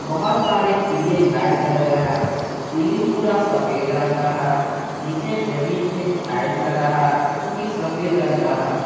बहुत सारे पीले लाइट जल रहे हैं सीलिंग पूरा सफेद रंग का है नीचे जमीन में टाइल्स लगा है जो की सफेद रंग का है।